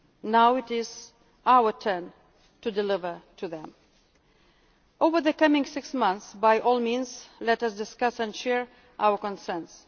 Now it is our turn to deliver to them. Over the coming six months, by all means let us discuss and share our